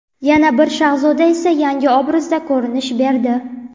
Yana bir Shahzoda esa yangi obrazda ko‘rinish berdi.